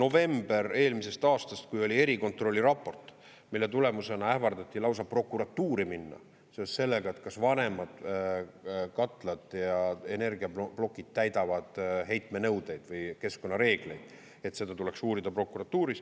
–, november eelmisest aastast, kui oli erikontrolli raport, mille tulemusena ähvardati lausa prokuratuuri minna seoses sellega, et kas vanemad katlad ja energiaplokid täidavad heitmenõudeid või keskkonnareegleid, et seda tuleks uurida prokuratuuris.